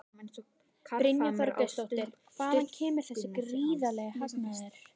Brynja Þorgeirsdóttir: Hvaðan kemur þessi gríðarlegi hagnaður?